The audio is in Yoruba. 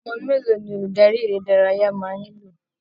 Ọmọ mélòó ni olùdarí eré ìdárayá máa nílò!